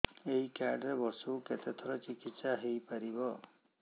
ଏଇ କାର୍ଡ ରେ ବର୍ଷକୁ କେତେ ଥର ଚିକିତ୍ସା ହେଇପାରିବ